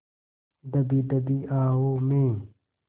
दबी दबी आहों में